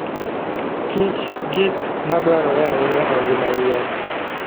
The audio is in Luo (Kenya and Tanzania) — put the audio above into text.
kich gik madwarore ahinya e ngima yien.